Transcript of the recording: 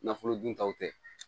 Nafolo dun taw tɛ